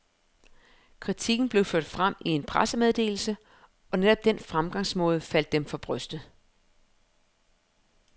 Kritikken blev ført frem i en pressemeddelse, og netop den fremgangsmåde faldt dem for brystet.